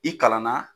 I kalanna